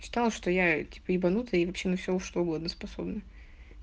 читала что я типа ебанутая и вообще на все что угодно способна